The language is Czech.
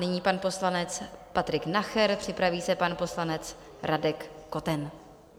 Nyní pan poslanec Patrik Nacher, připraví se pan poslanec Radek Koten.